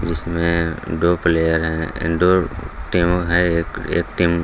इसमें दो प्लेयर हैं दो टीम है एक टीम --